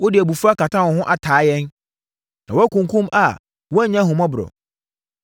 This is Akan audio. “Wode abufuo akata wo ho ataa yɛn; na wakunkum a woannya ahummɔborɔ.